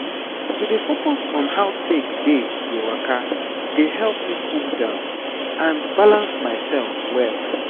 to dey focus on how take dey dey waka dey help me cool down and balance myself well.